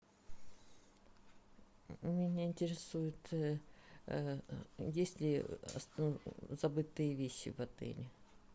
меня интересует есть ли забытые вещи в отеле